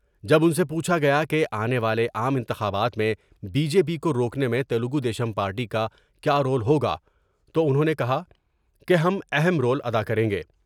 جب ان سے پوچھا گیا کہ آنے والے عام انتخابات میں بی جے پی کوروکنے میں تلگودیشم پارٹی کا کیا رول ہوگا تو انہوں نے کہا کہ ہم اہم رول ادا کر یں گے ۔